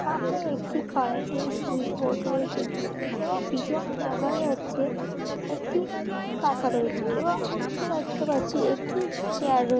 একটি কারেন্ট এর সুইচবোর্ড রয়েছে। এবং পিছনে দেখা যাচ্ছে একটি পাখা রয়েছে এবং নীচে দেখতে পাচ্ছি একটি চেয়ার রয়ে--